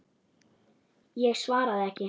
Ég svaraði ekki.